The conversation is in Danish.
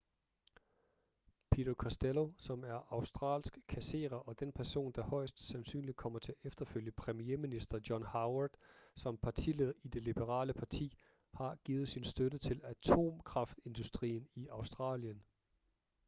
peter costello som er en australsk kasserer og den person der højest sandsynligt kommer til at efterfølge premierminister john howard som partileder i det liberale parti har givet sin støtte til atomkraftindustrien i australien